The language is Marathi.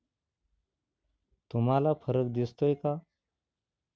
तुम्हाला फरक दिसतोय का?